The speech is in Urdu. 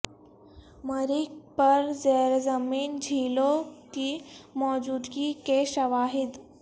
مریخ پر زیر زمین جھیلوں کی موجودگی کے شواہد